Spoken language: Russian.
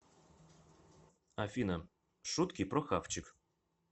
афина шутки про хавчик